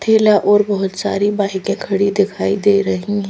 ठेला और बहोत सारी बाइक की खड़ी दिखाई दे रही--